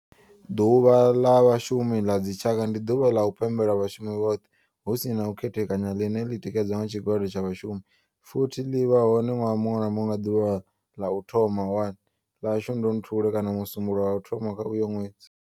Ḓuvha la vhashumi a dzi tshaka, ndi ḓuvha ḽa u pembela vhashumi vhothe hu si na u khethekanya ḽine ḽi tikedzwa nga tshigwada tsha vhashumi futhi ḽivha hone nwaha munwe na munwe nga ḓuvha ḽa u thoma 1 ḽa Shundunthule kana musumbulowo wa u thoma kha uyo nwedzi.